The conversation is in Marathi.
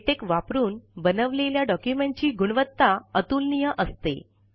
लेटेक वापरून बनवलेल्या डॉक्युमेंटची गुणवत्ता अतुलनीय असते